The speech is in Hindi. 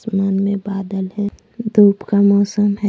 मान में बादल है धूप का मौसम है।